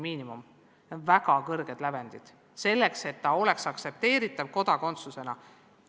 Need on väga kõrged lävendid, selleks et eksam oleks aktsepteeritav kodakondsuse andmisel.